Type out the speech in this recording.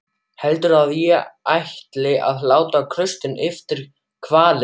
Heldurðu að ég ætli að láta klaustrinu eftir hvalinn?